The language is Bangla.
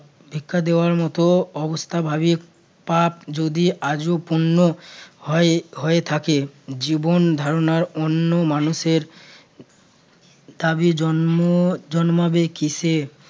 ভিক্ষা দেওয়ার মতো অবস্থা ভাবি পাপ যদি আজও পূর্ণ হয় হয়ে থাকে জীবনধারণার অন্য মানুষের তাবে জন্ম জন্মাবে কীসে